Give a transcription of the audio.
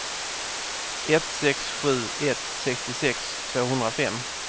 ett sex sju ett sextiosex tvåhundrafem